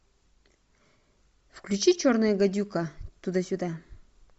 включи черная гадюка туда сюда